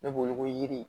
Ne b'o wele ko yiri